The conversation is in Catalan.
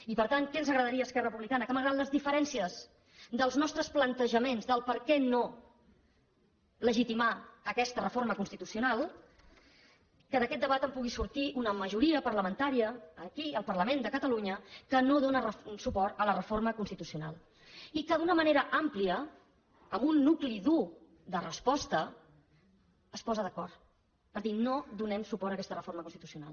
i per tant què ens agradaria a esquerra republicana que malgrat les diferències dels nostres plantejaments del perquè de no legitimar aquesta reforma constitucional d’aquest debat en pugui sortir una majoria parlamentària aquí al parlament de catalunya que no dóna suport a la reforma constitucional i que d’una manera àmplia amb un nucli dur de resposta es posa d’acord per dir no donem suport a aquesta reforma constitucional